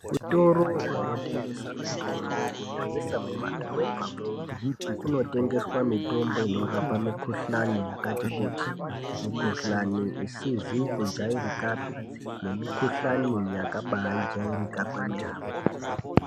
Zvitoro zvinotengesa mitombo kunyanyisa mumadhorobhamwo, kunotengeswa mitombo inorapa mikuhlani yakati kuti ,mikuhlani asikazi kujairika nemukuhlani yakabaajairika kwemene.